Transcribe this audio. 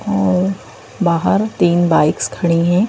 बाहर तीन बाइक्स खड़ी है।